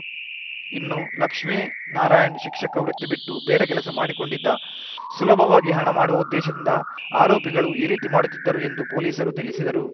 ಇನ್ನು ಲಕ್ಷ್ಮೇನಾರಾಯಣ್‌ ಶಿಕ್ಷಕ ವೃತ್ತಿ ಬಿಟ್ಟು ಬೇರೆ ಕೆಲಸ ಮಾಡಿಕೊಂಡಿದ್ದ ಸುಲಭವಾಗಿ ಹಣ ಮಾಡುವ ಉದ್ದೇಶದಿಂದ ಆರೋಪಿಗಳು ಈ ರೀತಿ ಮಾಡುತ್ತಿದ್ದರು ಎಂದು ಪೊಲೀಸರು ತಿಳಿಸಿದರು